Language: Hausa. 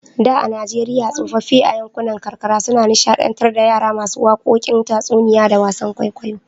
Da a Najeriya tsofaffi a yankunan karkara sukan nishadantar da yara masu wakokin tatsuniyoyi da wasan kwaikwayo.